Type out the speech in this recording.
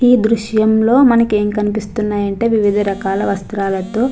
ఈ దృశ్యం లో మనకి ఎం కనిపిస్తున్నాయంటే వివిధ రకాల వస్త్రాలతో--